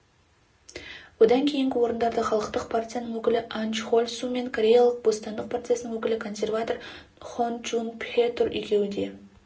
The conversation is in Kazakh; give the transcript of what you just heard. одан кейінгі орындарда халықтық партияның өкілі ан чхоль су мен кореялық бостандық партиясының өкілі консерватор хон чжун пхе тұр екеуі де